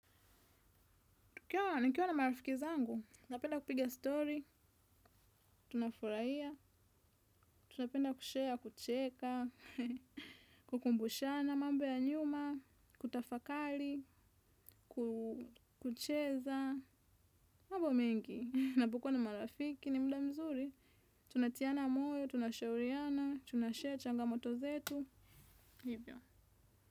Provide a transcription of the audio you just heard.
Ikiwa niikiwa na marafiki zangu, napenda kupiga story, tuna furahia, tunapenda kushare, kucheka, kukumbushana mambo ya nyuma, kutafakari, kucheza, mambo mengi, ninapo kuwa na marafiki ni muda mzuri, tunatiana moyo, tunashauriana, tunashare changamoto zetu, hivyo.